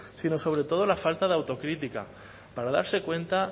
sino sobre todo la falta de autocrítica para darse cuenta